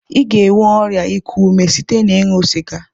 I ga-enwe ọrịa ịkụ ume site na-ịṅụ sịga.